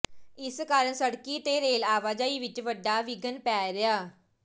ਇਸ ਕਾਰਨ ਸੜਕੀ ਤੇ ਰੇਲ ਆਵਾਜਾਈ ਵਿੱਚ ਵੱਡਾ ਵਿਘਨ ਪੈ ਰਿਹਾ